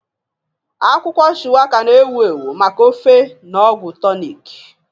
Akwụkwọ Shuwaka, na-ewu ewu maka ofe na ọgwụ tonik.